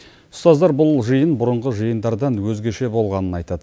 ұстаздар бұл жиын бұрынғы жиындардан өзгеше болғанын айтады